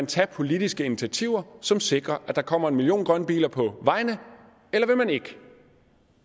tage politiske initiativer som sikrer at der kommer en million grønne biler på vejene eller vil man ikke